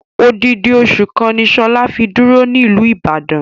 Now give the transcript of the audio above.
Odidi osu kan ni Shola fi duro niluu Ibadan.